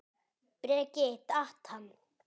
Breki: Datt hann?